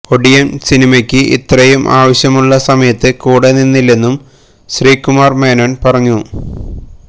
ഒടിയൻ സിനിമക്ക് ഇത്രെയും ആവശ്യമുള്ള സമയത്ത് കൂടെ നിന്നില്ലെന്നും ശ്രീകുമാർ മേനോൻ പറഞ്ഞു